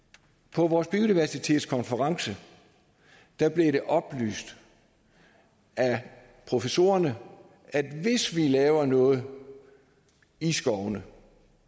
på vores biodiversitetskonference blev det oplyst af professorerne at hvis vi laver noget i skovene